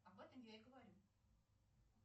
об этом я и говорю